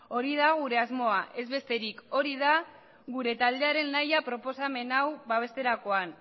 hori da gure asmoa ez besterik hori da gure taldearen nahia proposamen hau babesterakoan